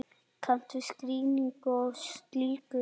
Kanntu skýringu á því?